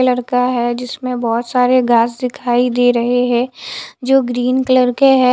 लड़का है जिसमें बहोत सारे घास दिखाई दे रहे हैं जो ग्रीन कलर के हैं।